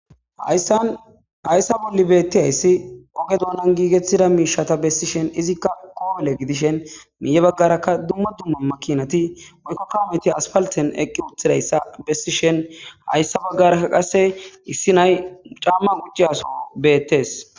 Hayssa bolli beettiyayssi oge doonan giigettida miishata bessishen izikka koole gidishen miiye baggarakka dumma dumma makinati woykko kawometi aspalten eqqi uthidayssa bessishen hayssa baggarakka qasse issi nay mucamman qucciyaso beettes.